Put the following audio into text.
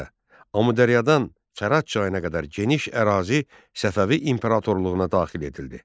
Beləliklə, Amudəryadan Fərat çayına qədər geniş ərazi Səfəvi imperatorluğuna daxil edildi.